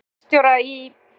Við fengum bílstjóra í